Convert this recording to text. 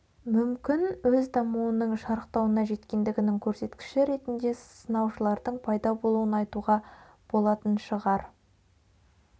мүмкін өз дамуының шарықтауына жеткендігінің көрсеткіші ретінде сынаушылардың пайда болуын айтуға болатын шығар